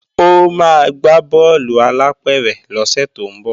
Ó máa gbá bọ́ọ̀lù alápẹ̀rẹ̀ lọ́sẹ̀ tó ń bọ̀